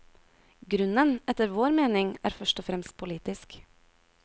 Grunnen, etter vår mening, er først og fremst politisk.